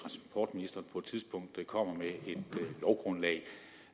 få tidspunkt komme med